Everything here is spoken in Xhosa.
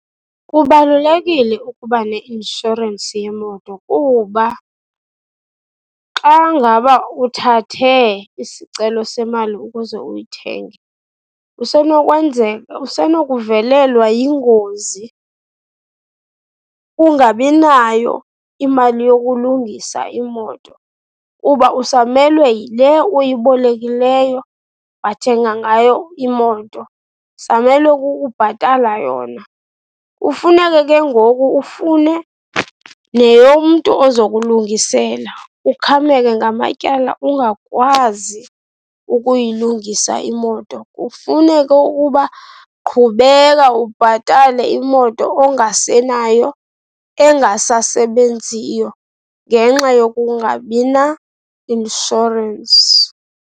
Kubalulekile ukuba neinshorensi yemoto kuba xa ngaba uthathe isicelo semali ukuze uyithenge, kusenokwenzeka, usenokuvelelwa yingozi, ungabi nayo imali yokulungisa imoto kuba usamelwe yile uyibolekileyo, wathenga ngayo imoto, usamelwe kukubhatala yona. Kufuneke ke ngoku ufune neyomntu ozokulungisela, ukhameke ngamatyala, ungakwazi ukuyilungisa imoto. Kufuneke ukuba qhubeka ubhatale imoto ongasenayo, engasasebenziyo ngenxa yokungabi nainshorensi.